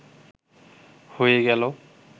হয়ে গেল